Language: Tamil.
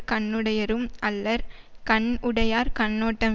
கண்ணுடையரும் அல்லர் கண் உடையார் கண்ணோட்டம்